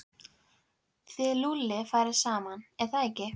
Þið Lúlli farið saman, er það ekki?